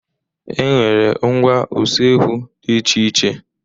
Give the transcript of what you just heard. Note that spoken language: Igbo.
E nwere ngwá usekwu dị iche iche.